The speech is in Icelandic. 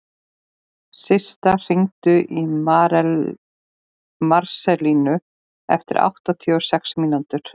Systa, hringdu í Marselínu eftir áttatíu og sex mínútur.